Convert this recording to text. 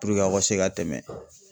Puruke aw ka se ka tɛmɛ.